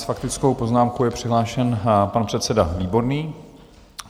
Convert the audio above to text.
S faktickou poznámkou je přihlášen pan předseda Výborný.